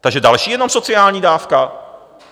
Takže další jenom sociální dávka?